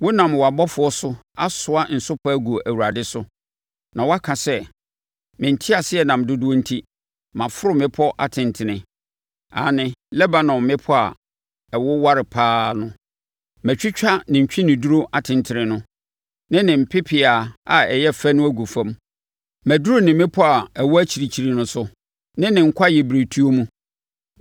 Wonam wʼabɔfoɔ so asoa nsopa agu Awurade so. Na woaka sɛ, ‘Me nteaseɛnam dodoɔ enti maforo mmepɔ atentene, aane Lebanon mmepɔ a ɛwoware pa ara no. Matwitwa ne ntweneduro atentene no, ne ne pepeaa a ɛyɛ fɛ no agu fam. Maduru ne mmepɔ a ɛwɔ akyirikyiri no so, ne ne kwaeɛbirentuo mu.